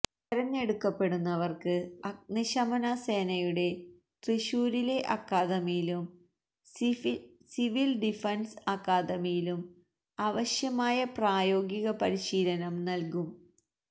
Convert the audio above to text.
തെരഞ്ഞെടുക്കപ്പെടുന്നവര്ക്ക് അഗ്നിശമന സേനയുടെ തൃശൂരിലെ അക്കാദമിയിലും സിവില് ഡിഫന്സ് അക്കാദമിയിലും ആവശ്യമായ പ്രായോഗിക പരിശീലനം നല്കും